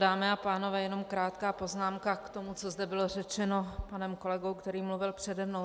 Dámy a pánové, jenom krátká poznámka k tomu, co tady bylo řečeno panem kolegou, který mluvil přede mnou.